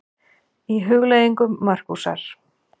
Í Hugleiðingum Markúsar